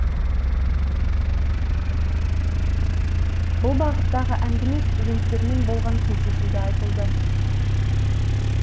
бұл бағыттағы әңгіме студенттермен болған кездесуде айтылды